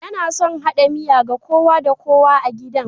Yana son hada miya ga kowa da kowa a gidan